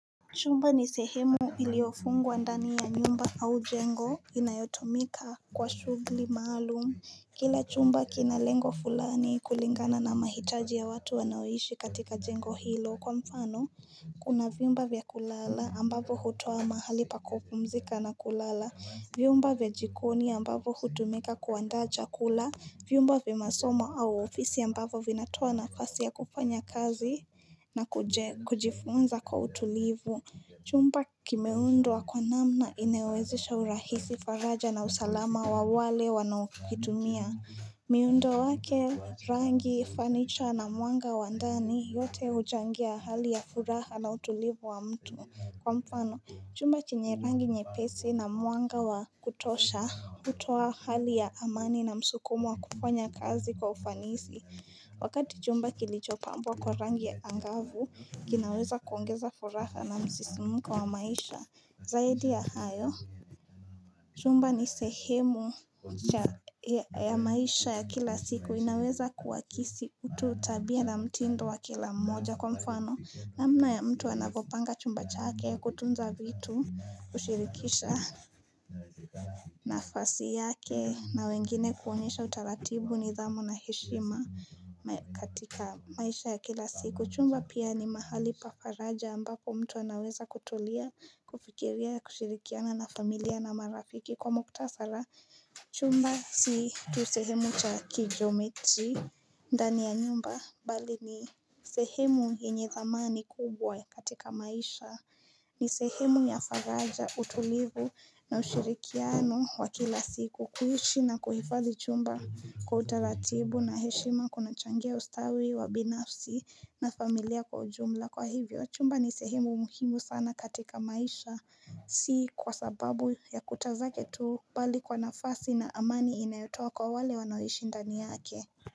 Chumba ni sehemu iliyofungwa ndani ya nyumba au jengo inayotumika kwa shughuli maalum. Kila chumba kina lengo fulani kulingana na mahitaji ya watu wanaoishi katika jengo hilo kwa mfano. Kuna vyumba vya kulala ambavo hutoa mahali pa kupumzika na kulala. Vyumba vya jikoni ambavo hutumika kuandaa chakula. Vyumba vya masoma au ofisi ambavo vinatoa nafasi ya kufanya kazi na kuje kujifunza kwa utulivu Chumba kimeundwa wa kwa namna inayowezesha urahisi faraja na usalama wa wale wanaokitumia miundo wake rangi fanicha na mwanga wa ndani yote huchangia hali ya furaha na utulivu wa mtu Kwa mfano, chumba chenye rangi nyepesi na mwanga wa kutosha hutoa hali ya amani na msukumo wa kufanya kazi kwa ufanisi. Wakati chumba kilichopambwa kwa rangi ya angavu, kinaweza kuongeza furaha na msisimuko wa maisha. Zaidi ya hayo, chumba ni sehemu cha ya maisha ya kila siku. Inaweza kuwakisi utu tabia na mtindo wa kila mmoja. Kwa mfano namna ya mtu anavopanga chumba chake kutunza vitu kushirikisha nafasi yake na wengine kuonyesha utaratibu nidhamu na heshima katika maisha ya kila siku Chumba pia ni mahali pa faraja ambako mtu anaweza kutulia kufikiria kushirikiana na familia na marafiki kwa mkutasara Chumba si tu sehemu cha kigeometry ndani ya nyumba bali ni sehemu yenye dhamani kubwa katika maisha ni sehemu ya faraja utulivu na ushirikiano wa kila siku kuishi na kuhifadhi chumba kwa utaratibu na heshima kunachangia ustawi wa binafsi na familia kwa ujumla Kwa hivyo chumba ni sehemu muhimu sana katika maisha si kwa sababu ya kuta zake tu Bali kwa nafasi na amani inayotoa kwa wale wanaoishi ndani yake.